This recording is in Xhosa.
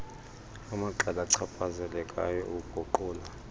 amaqela achaphazelekayo ukuguqula